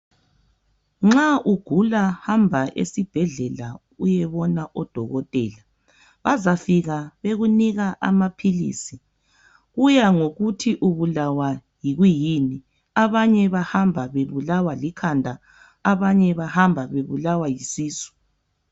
Nxa ugula hamba esibhedlela uyebona odokotela bazafika bekunika amaphilisi kuya ngokuthi ubulawa kuyini abanye bahamba bebulawa likhanda abanye bahamba bebulawa yisisu.